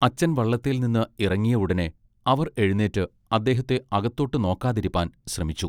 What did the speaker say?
അച്ചൻ വള്ളത്തേൽനിന്ന് ഇറങ്ങിയ ഉടനെ അവർ എഴുനീറ്റ് അദ്ദേഹത്തെ അകത്തോട്ട് നോക്കിക്കാതിരിപ്പാൻ ശ്രമിച്ചു.